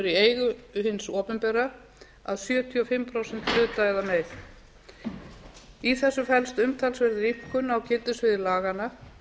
í eigu hins opinbera að sjötíu og fimm prósent hluta eða meira í þessu felst umtalsverð rýmkun á gildissviði laganna